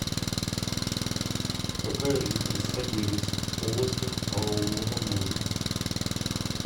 какая жидкость содержится в полостях головного мозга